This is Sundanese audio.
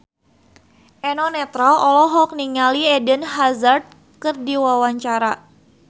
Eno Netral olohok ningali Eden Hazard keur diwawancara